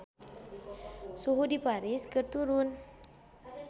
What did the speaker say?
Suhu di Paris keur turun